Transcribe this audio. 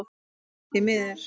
Nammi, því miður.